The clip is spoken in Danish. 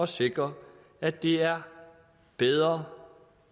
sikre at det er bedre